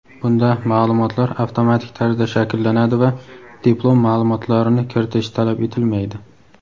Bunda ma’lumotlar avtomatik tarzda shakllanadi va diplom ma’lumotlarini kiritish talab etilmaydi.